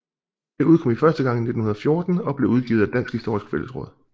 Det udkom første gang i 1914 og blev udgivet af Dansk Historisk Fællesråd